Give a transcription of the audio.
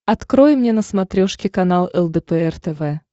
открой мне на смотрешке канал лдпр тв